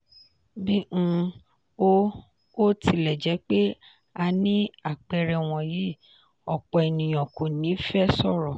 bí um ó ó tilẹ̀ jẹ́ pé a ní àpẹẹrẹ wọ̀nyí òpọ̀ ènìyàn kò ní fẹ sọ̀rọ̀.